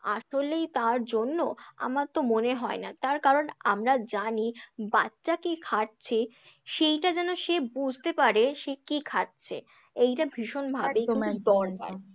আসলেই তার জন্য? আমার তো মনে হয় না, তার কারণ আমরা জানি বাচ্চা কি খাচ্ছে সেইটা যেন সে বুঝতে পারে, সে কি খাচ্ছে? এইটা ভীষণভাবে কিন্তু দরকার।